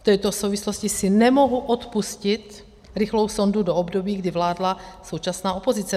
V této souvislosti si nemohu odpustit rychlou sondu do období, kdy vládla současná opozice.